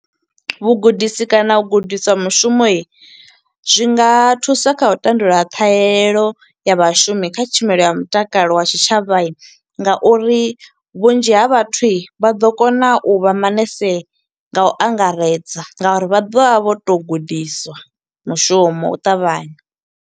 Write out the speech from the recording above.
Vhugudisi kana u gudiswa mushumo, zwi nga thusa kha u tandulula ṱhahelelo ya vhashumi kha tshumelo ya mutakalo wa tshitshavha, nga uri vhunzhi ha vhathu vha ḓo kona u vha manese nga u angaredza. Nga uri vha ḓovha vho to u gudiswa mushumo, u ṱavhanya.